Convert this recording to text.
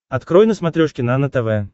открой на смотрешке нано тв